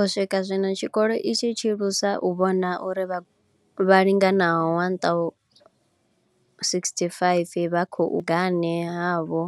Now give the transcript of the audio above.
U swika zwino, tshikolo itshi tshi lusa u vhona uri vhagudi vhatsho vha linganaho 1 065 vha khou wana vhuragane havho